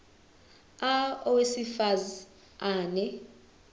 a owesifaz ane